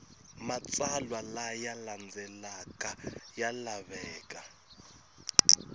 matsalwa laya landzelaka ya laveka